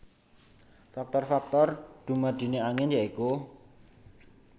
Faktor faktor dumadine angin ya iku